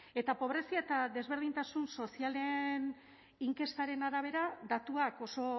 eta pobrezia eta desberdintasun sozialen inkestaren arabera datuak oso